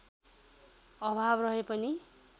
अभाव रहे पनि